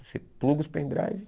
Você pluga os pendrives.